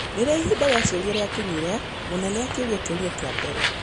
Rĩrĩa ihinda rĩa ciũria rĩakinyire, mũnene akĩũria kĩũria kĩa mbere.